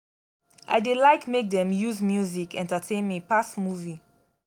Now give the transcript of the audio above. i dey like make dem use music entertain me pass movie.